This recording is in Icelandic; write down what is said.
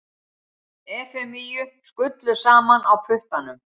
Efemíu skullu saman á puttanum.